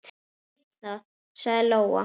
Ég veit það, sagði Lóa.